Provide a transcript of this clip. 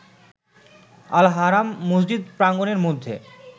Al-Haram মসজিদ প্রাঙ্গণের মধ্যে